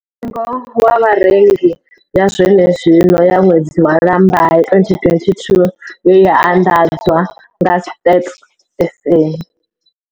Mutengo wa Vharengi ya zwenezwino ya ṅwedzi wa Lambamai 2022 ye ya anḓadzwa nga Stats SA.